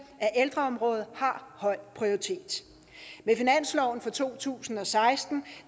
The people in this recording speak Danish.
at ældreområdet har høj prioritet med finansloven for to tusind og seksten